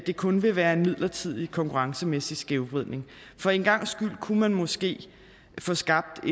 kun vil være en midlertidig konkurrencemæssig skævvridning for en gangs skyld kunne man måske få skabt